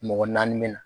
Mɔgɔ naani min na